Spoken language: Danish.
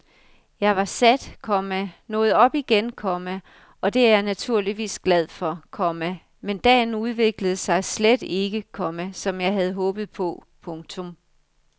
Jeg var sat, komma nåede op igen, komma og det er jeg naturligvis glad for, komma men dagen udviklede sig slet ikke, komma som jeg havde håbet på. punktum